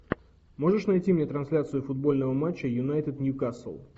можешь найти мне трансляцию футбольного матча юнайтед ньюкасл